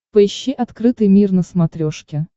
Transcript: поищи открытый мир на смотрешке